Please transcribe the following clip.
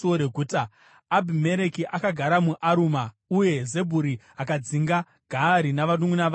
Abhimereki akagara muAruma, uye Zebhuri akadzinga Gaari navanunʼuna vake muShekemu.